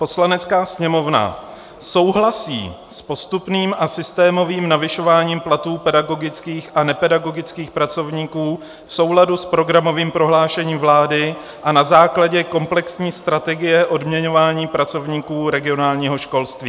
Poslanecká sněmovna souhlasí s postupným a systémovým navyšováním platů pedagogických a nepedagogických pracovníků v souladu s programovým prohlášením vlády a na základě komplexní strategie odměňování pracovníků regionálního školství.